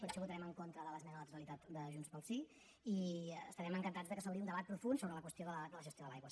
per això votarem en contra de l’esmena a la totalitat de junts pel sí i estarem encantats que s’obri un debat profund sobre la qüestió de la gestió de l’aigua